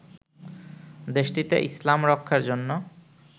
দেশটিতে ইসলাম রক্ষার জন্য